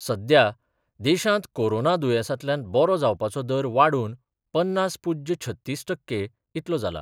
सध्या देशांत कोरोना दुयेंसांतल्यान बरो जावपाचो दर वाडून पन्नास पूज्य छत्तीस टक्के इतलो जाला.